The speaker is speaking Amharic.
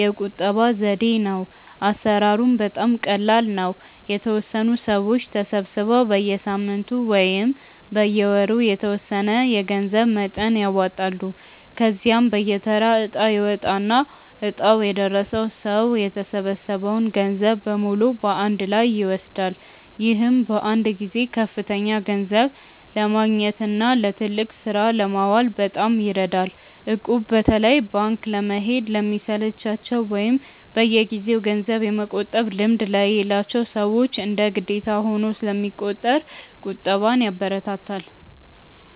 የቁጠባ ዘዴ ነው። አሰራሩም በጣም ቀላል ነው፤ የተወሰኑ ሰዎች ተሰባስበው በየሳምንቱ ወይም በየወሩ የተወሰነ የገንዘብ መጠን ያዋጣሉ። ከዚያም በየተራ እጣ ይወጣና እጣው የደረሰው ሰው የተሰበሰበውን ገንዘብ በሙሉ በአንድ ላይ ይወስዳል። ይህም በአንድ ጊዜ ከፍተኛ ገንዘብ ለማግኘትና ለትልቅ ስራ ለማዋል በጣም ይረዳል። እቁብ በተለይ ባንክ ለመሄድ ለሚሰለቻቸው ወይም በየጊዜው ገንዘብ የመቆጠብ ልምድ ለሌላቸው ሰዎች እንደ ግዴታ ሆኖ ስለሚቆጥር ቁጠባን ያበረታታል።